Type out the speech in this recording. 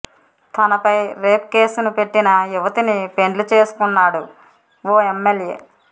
తనపై రేప్ కేసును పెట్టిన యువతిని పెండ్లి చేసుకున్నాడు ఓ ఎమ్మెల్యే